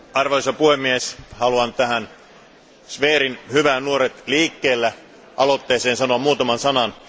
Arvoisa puhemies, haluan Zverin hyvään Nuoret liikkeellä aloitteeseen sanoa muutaman sanan.